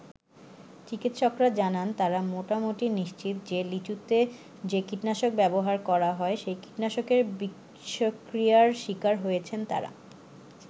চিকিৎসকরা জানান, তারা মোটামুটি নিশ্চিত যে লিচুতে যে কীটনাশক ব্যবহার করা হয়, সেই কীটনাশকের বিষক্রিয়ার শিকার হয়েছেন তারা।